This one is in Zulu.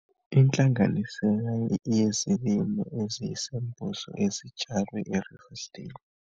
Inhlanganisela yezilimo eziyisembozo ezitshalwe e-Riversdale, 2016.